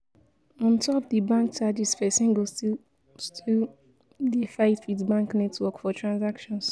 on top di bank charges persin go still still dey fight with bank network for transactions